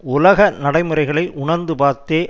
உலக நடைமுறைகளை உணர்ந்து பார்த்தே